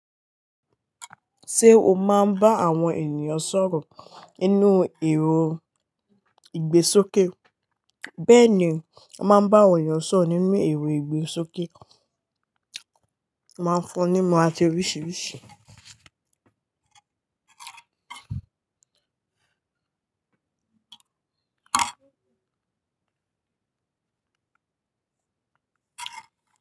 Ṣé o máa ń bá àwọn ènìyàn sọ̀rọ̀ nínú èrò ìgbésókè? Bẹ́ẹ̀ni, a máa ń bá àwọn ènìyàn sọ̀rọ̀ nínú ẹ̀rọ ìgbésókè. Ó máa ń fún ní ìmọ̀ àti oríṣiríṣi.